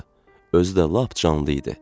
Özü də lap canlı idi.